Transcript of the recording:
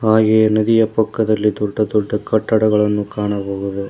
ಹಾಗೆ ನದಿಯ ಪಕ್ಕದಲ್ಲಿ ದೊಡ್ಡ ದೊಡ್ಡ ಕಟ್ಟಡಗಳನ್ನು ಕಾಣಬಹುದು.